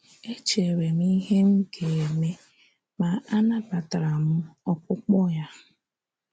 Echere m ìhè mga-eme, ma anabataram ọkpụkpo ya.